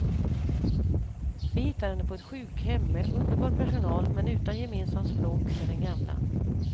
Vi hittar henne på ett sjukhem med underbar personal men utan gemensamt språk med den gamla.